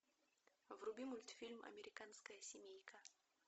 вруби мультфильм американская семейка